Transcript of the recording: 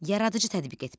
Yaradıcı tədqiq etmə.